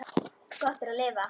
Gott er að lifa.